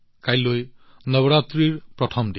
কাইলৈ নৱৰাত্ৰিৰ প্ৰথম দিন